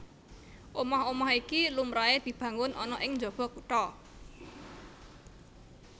Omah omah iki lumrahé dibangun ana ing njaba kutha